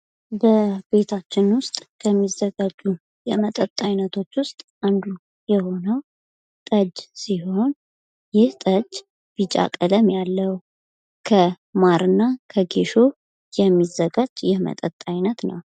በቤታችን ውስጥ ከሚዘጋጁ የመጠጥ አይነቶች ውስጥ አንዱ የሆነው ጠጅ ሲሆን ይህ ጠጅ ቢጫ ቀለም ያለው ከማርና ከጌሾ የሚዘጋጅ የመጠጥ አይነት ነው።